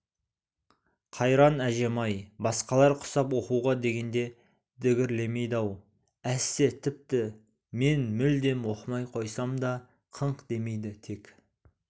қайран әжем-ай басқалар құсап оқуға дегенде дігерлемейді-ау әсте тіпті мен мүлдем оқымай қойсам да қыңқ демейді тек